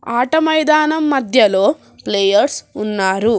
ఆట మైదానం మధ్యలో ప్లేయర్స్ ఉన్నారు.